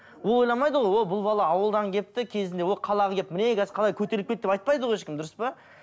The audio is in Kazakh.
ол ойламайды ғой о бұл бала ауылдан келіпті кезінде ол қалаға келіп міне қазір қалай көтеріліп кетті деп айтпайды ғой ешкім дұрыс па